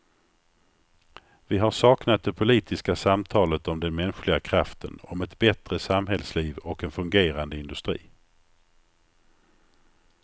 Vi har saknat det politiska samtalet om den mänskliga kraften, om ett bättre samhällsliv och en fungerande industri.